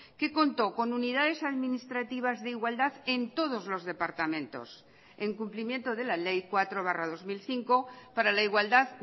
que contó con unidades administrativas de igualdad en todos los departamentos en cumplimiento de la ley cuatro barra dos mil cinco para la igualdad